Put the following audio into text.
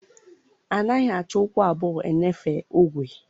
A naghị achị ụkwụ abụọ-eṅefe ogwe